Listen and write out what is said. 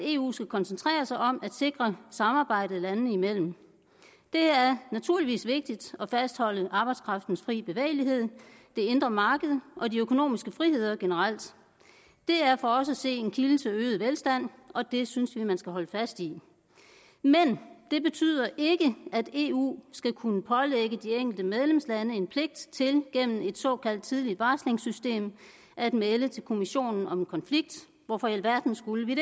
eu skal koncentrere sig om at sikre samarbejdet landene imellem det er naturligvis vigtigt at fastholde arbejdskraftens fri bevægelighed det indre marked og de økonomiske friheder generelt det er for os at se en kilde til øget velstand og det synes vi man skal holde fast i det betyder ikke at eu skal kunne pålægge de enkelte medlemslande en pligt til gennem et såkaldt tidligt varslingssystem at melde til kommissionen om en konflikt hvorfor i alverden skulle vi